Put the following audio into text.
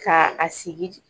Ka a sigi